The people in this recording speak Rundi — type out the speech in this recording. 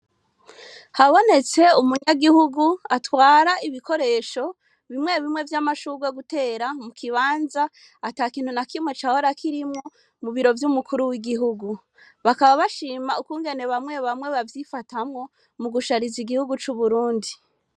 Habonetse umunyagihugu atwara ibikoresho bimwe bimwe vy'amashurwa gutera mu kibanza ata kintu na kimwe cahora koirimwo mu biro vy'umukuru w'igihugu bakaba bashima ukwungene bamwe bamwe bavyifatamwo mu gushariza igihugu c'uburundi.